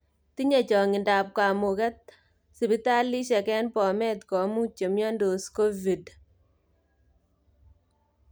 Tinye changindab kamuuget sipitalisiek eng bomet komuuch chemyontoos covid